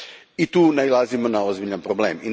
I tu nailazimo na ozbiljan problem.